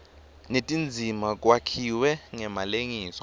netindzima kwakhiwe ngemalengiso